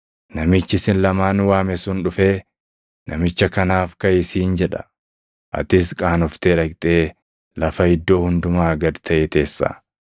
Namichi isin lamaanuu waame sun dhufee, ‘Namicha kanaaf kaʼi’ siin jedha; atis qaanoftee dhaqxee lafa iddoo hundumaa gad taʼe teessa.